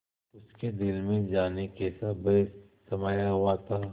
उसके दिल में जाने कैसा भय समाया हुआ था